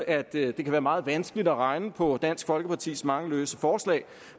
at det kan være meget vanskeligt at regne på dansk folkepartis mange løse forslag